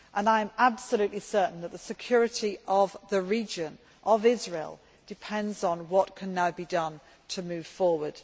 I am absolutely certain that the security of the region, of Israel, depends on what can now be done to move forward.